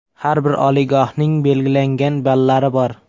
Har bir oliygohning belgilangan ballari bor.